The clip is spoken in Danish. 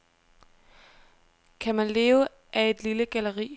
Kan man leve af et lille galleri?